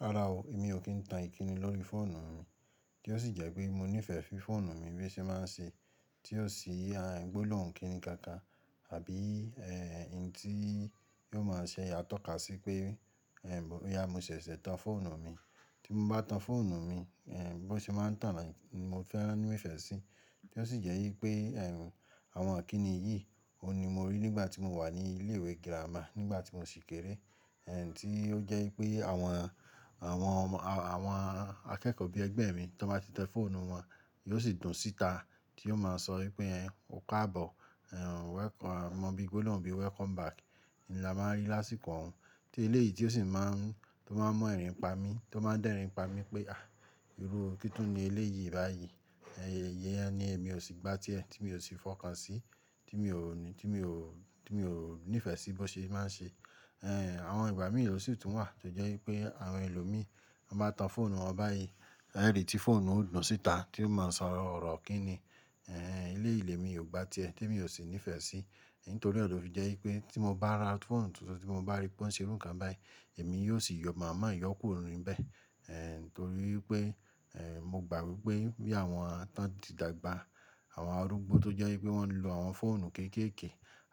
Rárá ó èmi ó kì ń tán ìkíni lórí fóònù mi kí ó sì jé pé mo nìfe fí fóònù mi bí ó se máa ń se tí ó sì àrà e gbóná kí ni kan kan àbí hun tí yóò máa sè à tòká sì pé bóyá mo sèsè tán fóònù mi tí m bá tan fóònù mi bó ṣe máa ń tàn báyi, mo fẹ́ràn, mo nífẹ̀ẹ́ sí, tí ó sì jẹ́ í pé è àwọn ìkíni yìí, òun ni mo rí nígbà tí mo wà ní ilé ìwé girama, nígbà tí mo ṣì kéré, tí ó jẹ́ í pé àwọn, àwọn ọmọ, àwọn akẹ́kọ̀ọ́ bí i ẹgbẹ́ mi tó bá ti tẹ fóònù wọn, yóò sì dùn síta, tí yóò máa sọ wí pé è ò kábọ̀, welcome, mọ̀ bí gbólòhun bí welcome back, ni lámáa rí lásìkò ọ̀un. Tí eléyì tí ó sì máa ń, tó máa ń mú ẹrin pa mí, tó máa ń dẹ́rin pa mí pé, à Irú kí tún ni éléyì báyi, iyen ni èmi òsì gba tí è, tí mi ò si fókan sí, tí mi ò, tí mi ò nìfe sí bó se máa se àwọn ìgbà mìí ó sì tún wà, tó jẹ́ í pé àwọn èlòmí tó bá tan fóònù wọn báyìí, è rí tí fóònù ó dùn síta, tí ó máa sọ ọ̀rọ̀ kíní, éléyì lé mi ò gbà tí ẹ, temi ò sì nífẹ̀ẹ́ sí. Nítorí náà lófì jẹ́ í pé tí mo bá ra fóònù tuntun, tí mo bá ri pé ó ń ṣe irú kan báyìí, èmi yóò sì yọ mà má yọ kúrò ni bẹ̀. Torí e pé mo gbà wí pé bí i àwọn tán ti dàgbà, àwọn arúgbó tó jẹ́ í pé wọ́n ń lo àwọn fóònù kéekèèkè,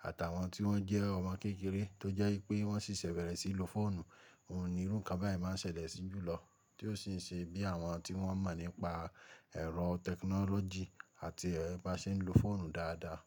àti àwọn tí wọ́n jẹ́ ọmọ kékeré, tó jẹ́ í pé wọ́n sì ṣẹ bẹ̀rẹ̀ sí í lo fóònù, ohun ni irú kan báyìí máa ṣẹlẹ̀ sí jùlọ. Tí ó sì ń ṣe bí i àwọn tí wọ́n mọ̀ nípa ẹ̀rọ tẹkínólójì àti bá ṣe ń lo fóònù dáadáa.